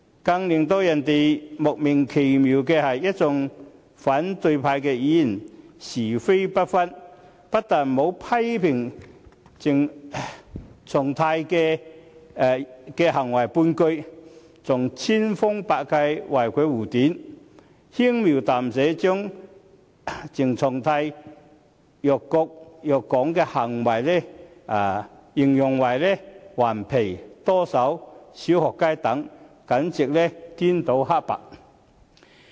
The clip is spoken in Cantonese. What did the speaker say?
更令人莫名其妙的是，一眾反對派議員是非不分，不但沒有批評鄭松泰的行為半句，還千方百計為其護短，輕描淡寫地將鄭松泰辱國辱港的行為形容為"頑皮"、"多手"、"小學雞"等，簡直顛倒黑白。